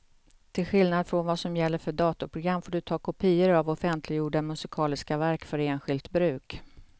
Till skillnad från vad som gäller för datorprogram får du ta kopior av offentliggjorda musikaliska verk för enskilt bruk.